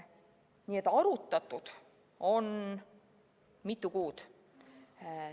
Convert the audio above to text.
Nii et arutatud on mitu kuud.